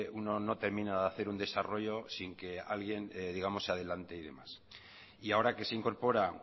uno no termina de hacer un desarrollo sin que alguien se adelante y demás y ahora que se incorpora